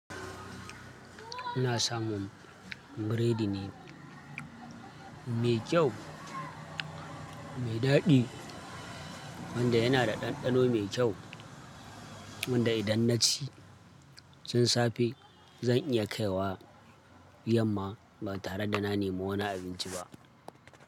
Ina samun biredi ne mai kyau, mai daɗi wanda yana da ɗanɗano mai kyau wanda idan na ci chikin safe zan iya kai wa yamma ba tare da na nemo wani abinci ba.